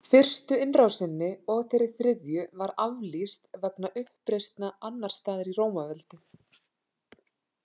Fyrstu innrásinni og þeirri þriðju var aflýst vegna uppreisna annars staðar í Rómaveldi.